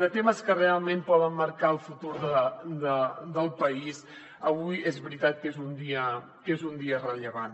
de temes que realment poden marcar el futur del país avui és veritat que és un dia rellevant